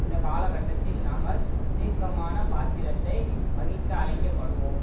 இந்த காலகட்டத்தில் நாங்கள் தீர்க்கமான பாத்திரத்தை வகிக்க அழைக்கப்படுவோம்